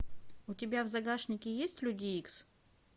у тебя в загашнике есть люди икс